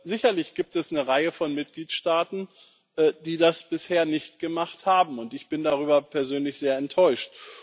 Sicherlich gibt es eine Reihe von Mitgliedstaaten, die das bisher nicht gemacht haben, und ich bin darüber persönlich sehr enttäuscht.